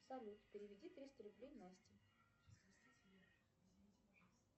салют переведи триста рублей насте